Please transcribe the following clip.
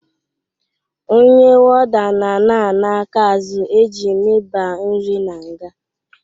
Onye woda na ana aka azụ eji miba nri n'nga